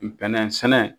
Bɛnɛ sɛnɛ